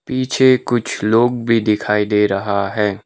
पीछे कुछ लोग भी दिखाई दे रहा है।